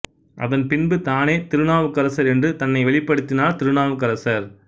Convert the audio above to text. அதன் பின்பு தானே திருநாவுக்கரசர் என்று தன்னை வெளிப்படுத்தினார் திருநாவுக்கரசர்